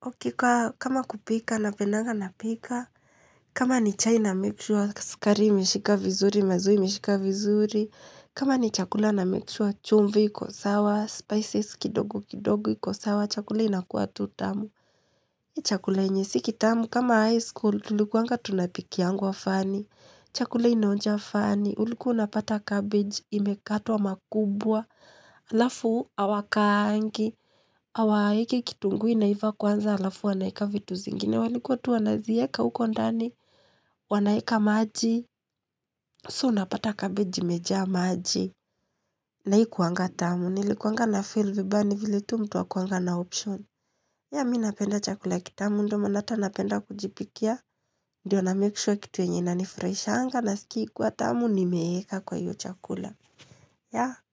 Hakika, kama kupika, huwanapeda kupika. Kama ni chai namake sure sukari imeshika vizuri, maziwa imeshika vizuri. Kama ni chakula na make sure chumvi, iko sawa, spices kidogo kidogo, ziko sawa, chakula inakuwa tu tamu. Mimi chakula chenye si kitamu. Kama high school, tulikuwa tunapikiwa funny. Chakula inonja funny, ulikuwa unapata cabbage imekatwa makubwa, alafu hawakaangi, hawaweki kitunguu iive kwanza alafu waweke vitu zingine. Walikuwa tu wanazieka huko ndani, wanaweka maji, so unapata cabbage imejaa maji. Na haikuwa tamu, nilikuwa na feel vibaya ni vile tu mtu hakuwa na option. Yeah mimi napenda chakula kitamu ndio maana ata napenda kujipikia. Ndio na make sure kitu yenye huwa inanifurahisha nasikia ikiwa tamu nimiweka kwa hicho chakula Yea.